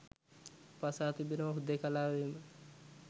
අප අසා තිබෙනවා හුදෙකලාවේම